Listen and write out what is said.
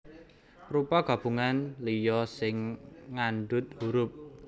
Rupa gabungan liya sing ngandhut hurup